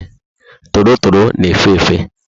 Torotoro na efe efe